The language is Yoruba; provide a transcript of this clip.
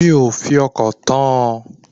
Mi ò fi ọkàn tán an